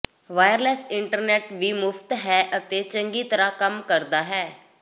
wireless internet ਵੀ ਮੁਫਤ ਹੈ ਅਤੇ ਚੰਗੀ ਤਰ੍ਹਾਂ ਕੰਮ ਕਰਦਾ ਹੈ